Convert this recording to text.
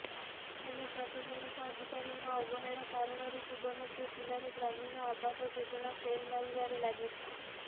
ହେଲେ ପ୍ରଶାସନିକ ଅଧିକାରୀଙ୍କ ଅବହେଳା କାରଣରୁ ସୁବର୍ଣ୍ଣପୁର ଜିଲ୍ଲାରେ ଗ୍ରାମୀଣ ଆବାସ ଯୋଜନା ଫେଲ ମାରିବାରେ ଲାଗିଛି